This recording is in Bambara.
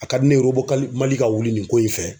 A ka di ne ye kali Mali ka wuli nin ko in fɛ.